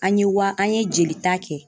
An ye wa an ye jelita kɛ.